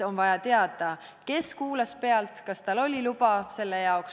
On vaja teada, kes kuulas pealt, kas tal oli luba selle jaoks.